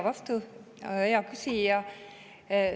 Aitäh, hea küsija!